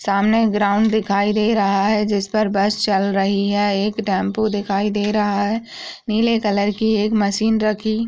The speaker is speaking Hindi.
सामने ग्राउंड दिखाई दे रहा है जिस पे बस चल रही है एक टेम्पो दिखाई दे रहा है नीले कलर की एक मशीन रखी --